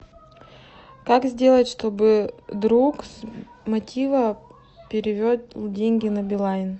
как сделать чтобы друг с мотива перевел деньги на билайн